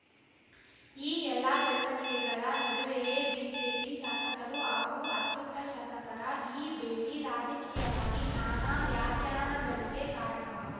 ಈ ಎಲ್ಲ ಬೆಳವಣಿಗೆಗಳ ನಡುವೆಯೇ ಬಿಜೆಪಿ ಶಾಸಕರು ಹಾಗೂ ಅತೃಪ್ತ ಶಾಸಕರ ಈ ಭೇಟಿ ರಾಜಕೀಯವಾಗಿ ನಾನಾ ವ್ಯಾಖ್ಯಾನಾಗಳಿಗೆ ಕಾರಣವಾಗಿ